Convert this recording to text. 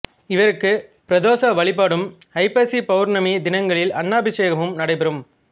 இவருக்கு பிரதோஷ வழிபாடும் ஐப்பசி பௌர்ணமி தினங்களில் அன்னாபிசேகமும் நடைபெறும்